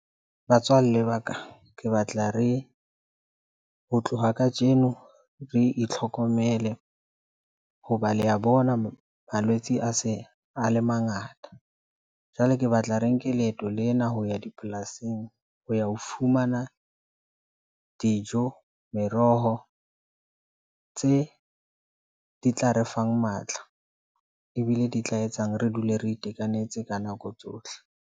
Batswalle ba ka ke batla re, ho tloha kajeno re itlhokomele hoba le a bona malwetse a se a le mangata. Jwale ke batla re nke leeto lena ho ya dipolasing ho ya ho fumana dijo meroho tse di tla re fang matla ebile di tla etsang. Re dule re itekanetse ka nako tsohle.